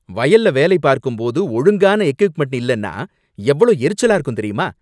வயல்ல வேலை பார்க்கும்போது ஒழுங்கான எக்விப்மென்ட் இல்லேன்னா எவ்ளோ எரிச்சலா இருக்கும் தெரியுமா!